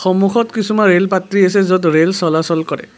সন্মুখত কিছুমান ৰেলপাত্ৰি আছে য'ত ৰেল চলাচল কৰে।